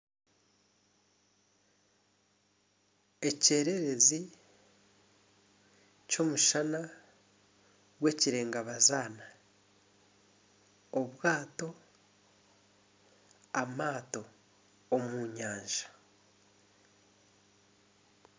Ekyererezi ky'omushana gw'ekireegabazaana amaato omu nyanja.